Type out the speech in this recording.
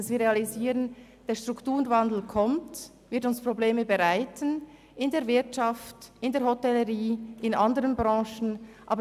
Wir müssen realisieren, dass der Strukturwandel kommt und uns Probleme in der Wirtschaft, in der Hotellerie und in anderen Branchen bereiten wird.